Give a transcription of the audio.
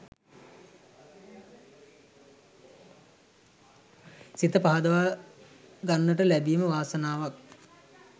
සිත පහදවා ගන්නට ලැබීම වාසනාවක්.